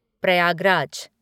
Prayagraj